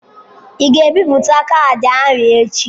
Ị ga-ebipụta kaadị ahụ echi.?